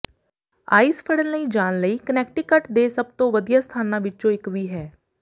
ice ਫੜਨ ਲਈ ਜਾਣ ਲਈ ਕਨੈਕਟੀਕਟ ਦੇ ਸਭ ਤੋਂ ਵਧੀਆ ਸਥਾਨਾਂ ਵਿਚੋਂ ਇਕ ਵੀ ਹੈ